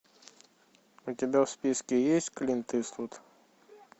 у тебя в списке есть клинт иствуд